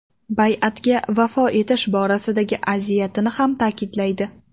Bay’atga vafo etish borasidagi aziyatini ham ta’kidlaydi.